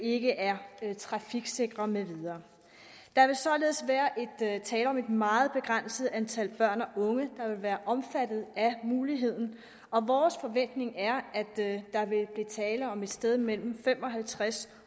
ikke er trafiksikre med videre der vil således være tale om et meget begrænset antal børn og unge der vil være omfattet af muligheden og vores forventning er at der vil blive tale om et sted mellem fem og halvtreds